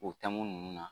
O taamu ninnu na